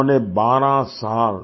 उन्होंने 12 साल